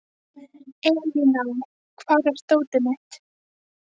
Elíná, hvar er dótið mitt?